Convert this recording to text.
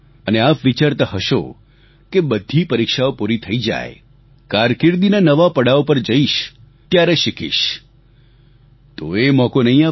અને આપ વિચારતા હશો કે બધી પરીક્ષાઓ પૂરી થઈ જાય કારકિર્દીના નવા પડાવ પર જઈશ ત્યારે શીખીશ તો એ મોકો નહીં આવે